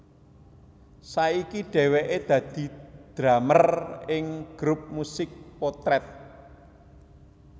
Saiki dhèwèké dadi drumer ing grup musik Potret